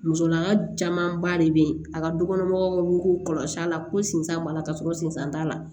Musolaka camanba de be yen a ka dukɔnɔ mɔgɔw ka ko kɔlɔsi a la ko sinsan b'a la ka sɔrɔ sinsan t'a la